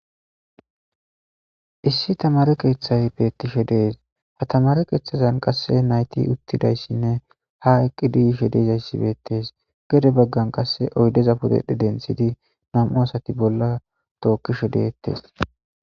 issi tamare keeththay beettishe de'es ha tamare keeththazan qasse nayti uttidayssinne ha eqqidi yishe de'izayssibeettes gede baggan qasse oydeza pudedhe denthidi nam7u asati bolla tookkishe deettes